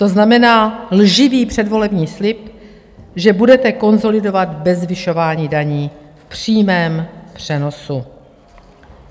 To znamená lživý předvolební slib, že budete konsolidovat bez zvyšování daní, v přímém přenosu.